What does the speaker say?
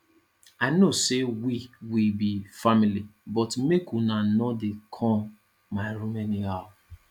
i know sey we we be family but make una no dey come my room anyhow